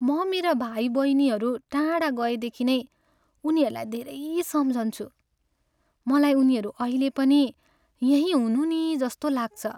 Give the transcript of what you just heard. म मेरा भाइबहिनीहरू टाढा गएदेखि नै उनीहरूलाई धेरै सम्झन्छु। मलाई उनीहरू अहिले पनि यहीँ हुनु नि जस्तो लाग्छ।